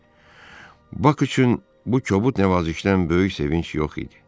Bak üçün bu kobud nəvazişdən böyük sevinc yox idi.